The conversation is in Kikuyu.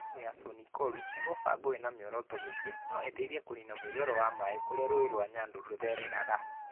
"Demu ya Soin-Koru nĩ mũbango wĩna mĩoroto mĩingĩ ĩrĩa. No ĩteithia kũniina mũiyũro wa maaĩ kũrĩa rũũĩ rwa Nyando rũthereraga.